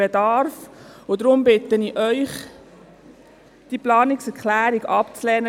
Deshalb bitte ich Sie, diese Planungserklärung abzulehnen.